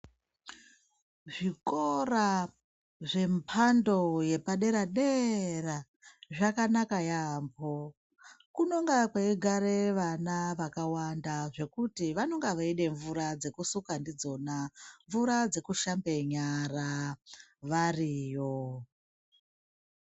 Zvikora zvembando yepadera dera zvakanaka yambo kunenge kweigara vana vakawanda ngekuti vanenge vachida mvura dzekusuka ndidzona mvura dzekuhlambe nyara variyo.